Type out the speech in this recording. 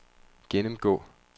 gennemgå